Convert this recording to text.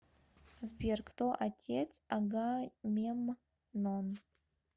сбер кто отец агамемнон